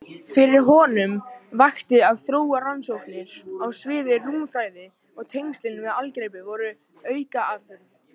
Fyrir honum vakti að þróa rannsóknir á sviði rúmfræði og tengslin við algebru voru aukaafurð.